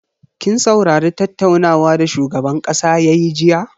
Kin saurari tattaunawa da shugaban kasa yayi jiya?